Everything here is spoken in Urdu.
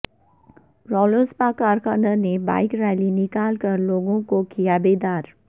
رالوسپا کارکنان نے بائک ریلی نکال کر لوگوںکو کیا بیدار